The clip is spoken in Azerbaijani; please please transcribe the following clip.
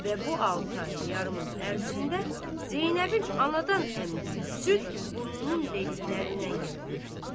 Və bu altı ay yarımın ərzində Zeynəbin anadan əmdiyi süd burnunun dəliklərindən gəlib töküldü.